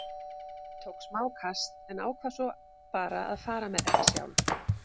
Ég tók smá kast en ákvað svo bara að fara með þetta sjálf.